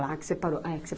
Lá que você parou? É que